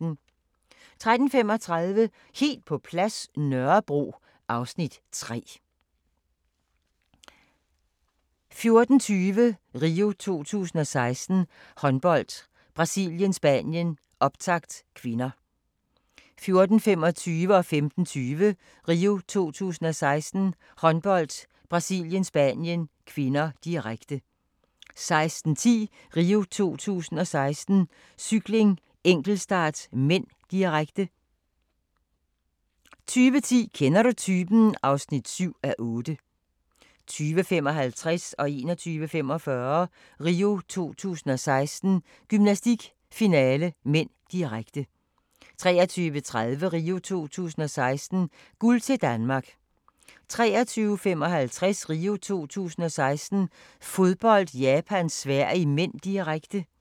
13:35: Helt på plads – Nørrebro (Afs. 3) 14:20: RIO 2016: Håndbold - Brasilien-Spanien, optakt (k) 14:25: RIO 2016: Håndbold - Brasilien-Spanien (k), direkte 15:20: RIO 2016: Håndbold - Brasilien-Spanien (k), direkte 16:10: RIO 2016: Cykling - enkeltstart (m), direkte 20:10: Kender du typen? (7:8) 20:55: RIO 2016: Gymnastik - finale (m), direkte 21:45: RIO 2016: Gymnastik - finale (m), direkte 23:30: RIO 2016: Guld til Danmark 23:55: RIO 2016: Fodbold - Japan-Sverige (m), direkte